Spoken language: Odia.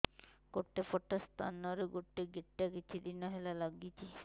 ଗୋଟେ ପଟ ସ୍ତନ ରେ ଗୋଟେ ଗେଟା କିଛି ଦିନ ହେଲା ଲାଗୁଛି